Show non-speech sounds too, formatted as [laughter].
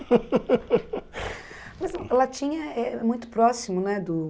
[laughs] Mas latim é é muito próximo, né do?